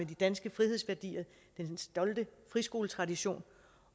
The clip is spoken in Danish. de danske frihedsværdier og den stolte friskoletradition